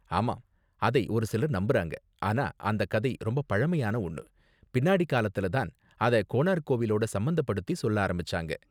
ஆமா, அதை ஒரு சிலர் நம்புறாங்க, ஆனா அந்த கதை ரொம்ப பழமையான ஒன்னு, பின்னாடி காலத்துல தான் அத கோனார்க் கோவிலோட சம்பந்தப்படுத்தி சொல்ல ஆரம்பிச்சாங்க.